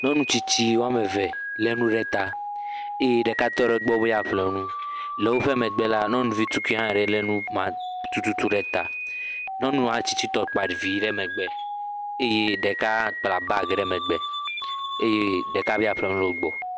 Nyɔnu tstitsi wɔme ve le nu ɖe ta eye ɖeka tɔ ɖe gbɔ be yeaƒle nu. Le woƒe megbe la nyɔnuvi tukui aɖe le numa tututu ɖe ta. Nyɔnua tsitsi tɔ kpa ɖevi ɖe megbe eye ɖeka kpla bag ɖe megbe eye ɖeka be yeaƒle nu le wogbɔ.